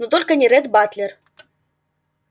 но только не ретт батлер